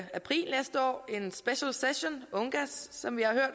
april næste år en specialsession ungass som vi har hørt